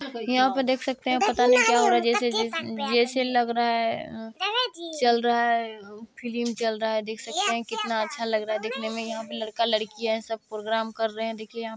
यहाँ पे देख सकते है पता नी क्या हो रहा है जैसा जै जैसे लग रहा है अ चल रहा है फिल्म चल रहा है देख सकते है कितना अच्छा लग रहा है देखने में यहाँ पे लड़का लड़की है सब प्रोग्राम कर रहे है देखिए यहाँ --